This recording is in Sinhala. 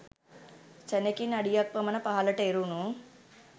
සැනෙකින් අඩියක් පමණ පහළට එරුණු